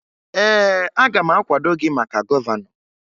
Ee, aga m akwado gị maka gọvanọ